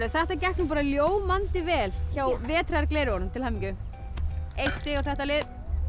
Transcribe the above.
þetta gekk bara ljómandi vel hjá til hamingju eitt stig á þetta lið